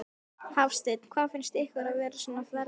Hafsteinn: Hvað finnst ykkur vera svona verst við snjóinn?